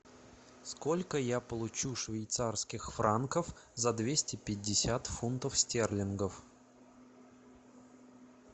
сколько я получу швейцарских франков за двести пятьдесят фунтов стерлингов